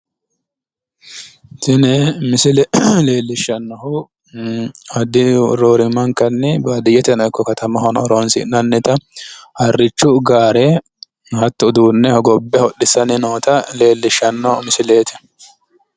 tini misile leellishshannonkehu roorimmankanni baadiyyete ikko katamahono horonsinnannita harrichu gaare hattono uduunne hogobbe hodhissaanni noota leellishshanno misileeti.